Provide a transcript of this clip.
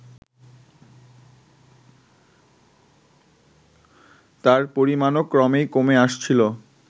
তার পরিমাণও ক্রমেই কমে আসছিল